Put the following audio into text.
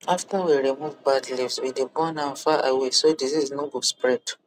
after we remove bad leaves we dey burn am far away so disease no spread